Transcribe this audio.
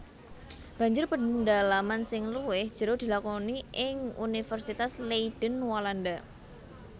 Banjur pendalaman sing luwih jero dilakoni ing Universitas Leiden Walanda